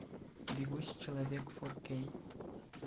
бегущий человек фор кей